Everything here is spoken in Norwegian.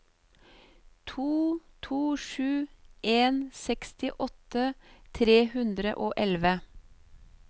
to to sju en sekstiåtte tre hundre og elleve